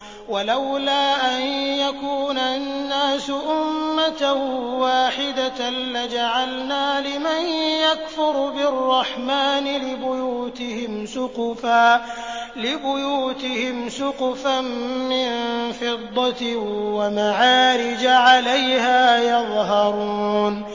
وَلَوْلَا أَن يَكُونَ النَّاسُ أُمَّةً وَاحِدَةً لَّجَعَلْنَا لِمَن يَكْفُرُ بِالرَّحْمَٰنِ لِبُيُوتِهِمْ سُقُفًا مِّن فِضَّةٍ وَمَعَارِجَ عَلَيْهَا يَظْهَرُونَ